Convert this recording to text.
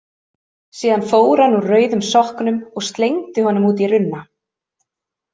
Síðan fór hann úr rauðum sokknum og slengdi honum út í runna.